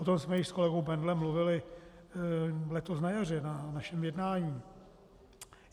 O tom jsme již s kolegou Bendlem mluvili letos na jaře na našem jednání.